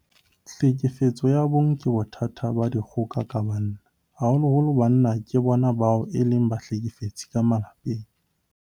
Tlhekefetso ya bong ke bothata ba dikgoka ka banna. Haholoholo banna ke bona bao e leng bahlekefetsi ka malapeng.